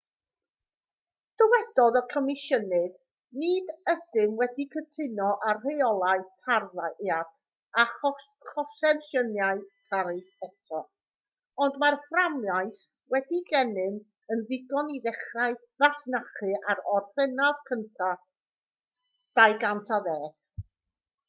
dywedodd y comisiynydd nid ydym wedi cytuno ar reolau tarddiad a chonsesiynau tariff eto ond mae'r fframwaith sydd gennym yn ddigon i ddechrau masnachu ar orffennaf 1 2010